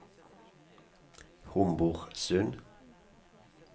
Homborsund